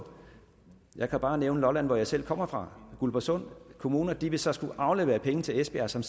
jeg kan bare nævne lolland hvor jeg selv kommer fra og guldborgsund kommune de vil så skulle aflevere penge til esbjerg som